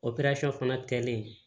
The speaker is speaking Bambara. fana kɛlen